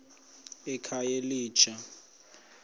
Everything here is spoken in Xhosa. ekhayelitsha